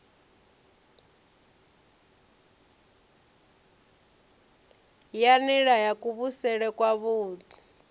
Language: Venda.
ya nila ya kuvhusele kwavhui